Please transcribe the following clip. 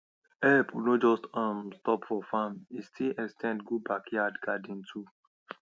help no just um stop for farm e still ex ten d go backyard garden too